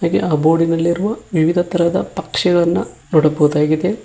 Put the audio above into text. ಹಾಗೆ ಆ ಬೋರ್ಡಿನಲ್ಲಿರುವ ವಿವಿಧ ತರಹದ ಪಕ್ಷಿಗಳನ್ನ ನೋಡಬಹುದಾಗಿದೆ.